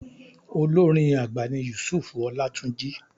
Olórin àgbà ni Yusuf Ọlátúnjí.